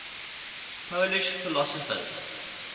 polish philosophers